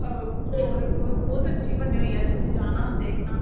ਅਹ ਹੋਰ ਬਹੁਤ ਅੱਛੀ ਬਣੀ ਹੋਈ ਆ ਤੁਸੀਂ ਜਾਣਾ ਦੇਖਣਾ